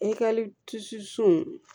I ka